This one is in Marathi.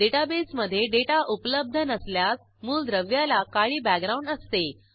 डेटाबेसमधे डेटा उपलब्ध नसल्यास मूलद्रव्याला काळी बॅकग्राऊंड असते